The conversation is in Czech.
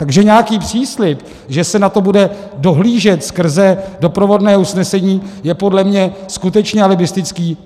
Takže nějaký příslib, že se na to bude dohlížet skrze doprovodné usnesení, je podle mě skutečně alibistický.